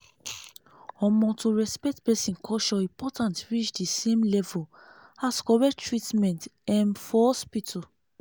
omo to respect person culture important reach di same level as correct treatment um for hospital.